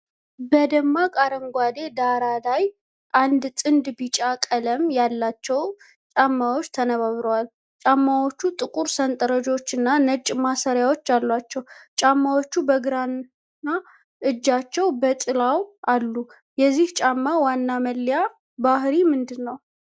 በደማቅ አረንጓዴ ዳራ ላይ፣ አንድ ጥንድ ቢጫ ቀለም ያላቸው ጫማዎች ተነባብረዋል። ጫማዎቹ ጥቁር ሰንጠረዦችና ነጭ ማሰሪያዎች አሏቸው፤ ጫማዎቹ በግራ እጃቸው በጥላው አሉ። የዚህ ጫማ ዋና መለያ ባህርይ ምንድነው?